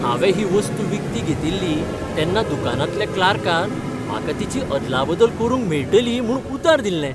हांवें ही वस्तू विकती घेतिल्ली तेन्ना दुकानांतल्या क्लार्कान म्हाका तिची अदलाबदल करूंक मेळटली म्हूण उतर दिल्लें.